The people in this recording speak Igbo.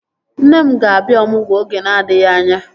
Nne m ga-abịa ọmụgwọ oge na-adịghị anya